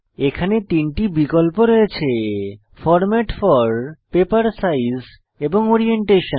এখানে তিনটি বিকল্প রয়েছে ফরম্যাট ফোর পেপার সাইজ এবং ওরিয়েন্টেশন